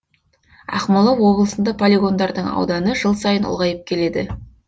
ақмола облысында полигондардың ауданы жыл сайын ұлғайып келеді